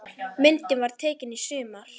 Myndin var tekin í sumar.